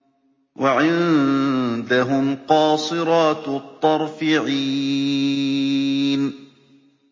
وَعِندَهُمْ قَاصِرَاتُ الطَّرْفِ عِينٌ